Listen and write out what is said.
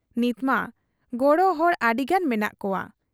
ᱱᱤᱛᱢᱟ ᱜᱚᱲᱚ ᱦᱚᱲ ᱟᱹᱰᱤᱜᱟᱱ ᱢᱮᱱᱟᱜ ᱠᱚᱣᱟ ᱾